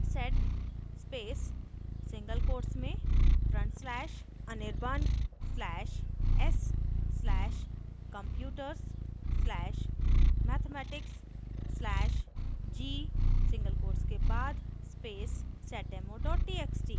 sed space single quotes में front slash anirban slash s slash computers slash mathematics slash g single quotes के बाद space seddemo txt